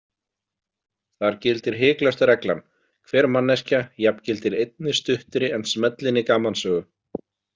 Þar gildir hiklaust reglan: hver manneskja jafngildir einni stuttri en smellinni gamansögu.